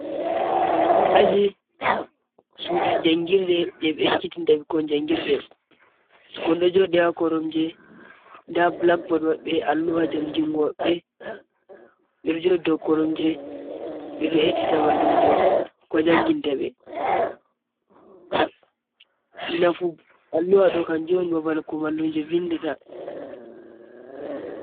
Ajii suɗu jangirɗe je be ekkitinta bekko jangirɗe. Bikmon ɗo jooɗi ha koromje. Nda bulakbooɗ mabbe Alluha jangingomabbe. Be ɗo joɗɗo dau koromje be ɗo heɗita mallumjo ko janginta be. Nafu Alluha do kan jon babal ko mallumje vinɗata.